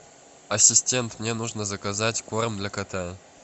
ассистент мне нужно заказать корм для кота